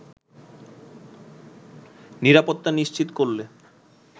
নিরাপত্তা নিশ্চিত করলে